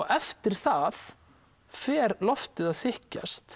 eftir það fer loftið að þykkjast